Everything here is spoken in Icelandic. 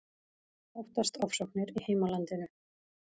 Óttast ofsóknir í heimalandinu